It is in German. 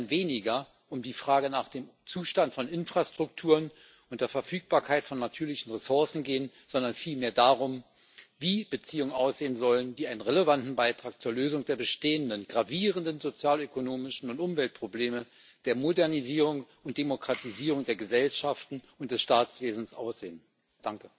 Es wird dann weniger um die Frage nach dem Zustand von Infrastrukturen und die Frage der Verfügbarkeit von natürlichen Ressourcen gehen, sondern vielmehr darum, wie Beziehungen aussehen sollen, die einen relevanten Beitrag zur Lösung der bestehenden gravierenden sozialökonomischen Probleme und Umweltprobleme sowie zur Modernisierung und Demokratisierung der Gesellschaften und des Staatswesens leisten.